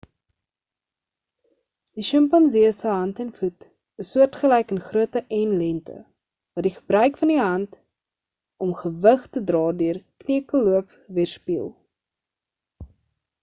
die sjimpansee se hand en voet is soortgelyk in grootte en lengte wat die gebruik van die hand om gewig te dra deur kneukelloop weerspieël